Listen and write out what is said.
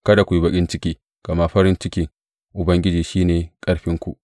Kada ku yi baƙin ciki, gama farin cikin Ubangiji shi ne ƙarfinku.